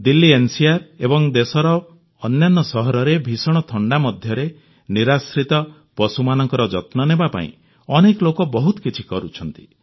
Delhi NCR ଏବଂ ଦେଶର ଅନ୍ୟାନ୍ୟ ସହରରେ ଭୀଷଣ ଥଣ୍ଡା ମଧ୍ୟରେ ନିରାଶ୍ରିତ ପଶୁମାନଙ୍କର ଯତ୍ନ ନେବା ପାଇଁ ଅନେକ ଲୋକ ବହୁତ କିଛି କରୁଛନ୍ତି